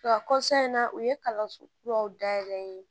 Wa in na u ye kalanso kuraw dayɛlɛ